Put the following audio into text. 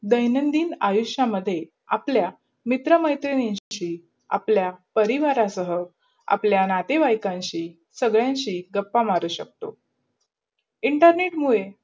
दयानंदिन आयुषमाधे आपल्या मित्र मैत्रिनशि, आपल्या परिवाराशाह, आपल्या नातेवयेनान्शि, सगदंधी गप्पा मारू शकतो. internet मुडे